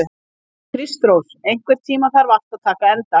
Kristrós, einhvern tímann þarf allt að taka enda.